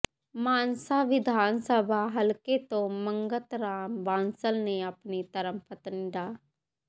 ਮਾਨਸਾ ਵਿਧਾਨ ਸਭਾ ਹਲਕੇ ਤੋਂ ਮੰਗਤ ਰਾਮ ਬਾਂਸਲ ਨੇ ਆਪਣੀ ਧਰਮ ਪਤਨੀ ਡਾ